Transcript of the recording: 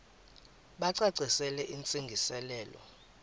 bacacisele intsi ngiselo